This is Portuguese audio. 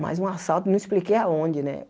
Mas um assalto, não expliquei aonde, né?